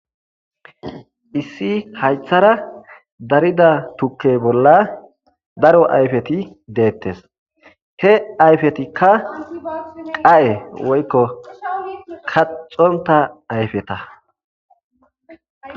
Issi haythara darida tukke bolla daro ayfeti deettes. He ayfetikka qaye woykko kaxonta ayfeta.